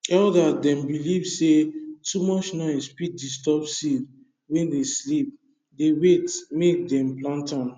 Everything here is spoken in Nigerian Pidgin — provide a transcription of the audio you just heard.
elder dem believe say too much noise fit disturb seed wey dey sleep dey wait make dem plant am